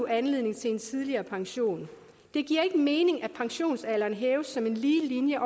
anledning til en tidligere pension det giver ikke mening at pensionsalderen hæves som en lige linje